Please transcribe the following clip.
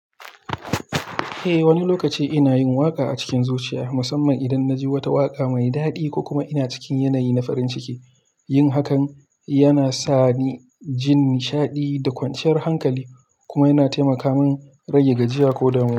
Eh, wani lokaci ina yin waƙa a cikin zuciya, musamman idan na ji wata waƙa mai daɗi ko kuma ina cikin yanayi na farin ciki. Yin hakan yana sa ni jin nishaɗi da kwanciyar hankali, kuma yana taimaka min rage gajiya ko damuwa.